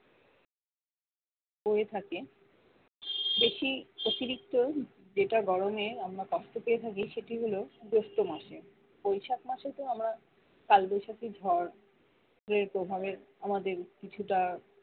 হয়ে থাকে বেশি অতিরিক্ত যেটা গরমে আমরা কষ্ট পেয়ে থাকি সেটি হলো জ্যৈষ্ঠ মাসে বৈশাখ মাসে তো আমরা কালবৈশাখী ঝড় এর প্রভাবে আমাদের কিছুটা